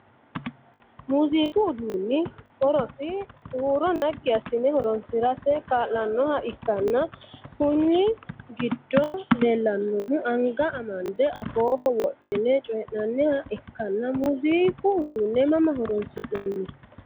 Muuziiqu uduunni horosi huuro nagi asine horoo'nsirate kaa'lanoha ikanna kunni gido leelanohu anga amande afooho wodhine coyi'nanniha ikanna muuziiqu uduune mamma horoonsi'nanni?